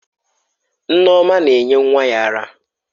Nneoma na-enye nwa ya ara.